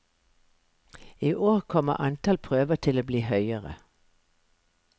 I år kommer antall prøver til å bli høyere.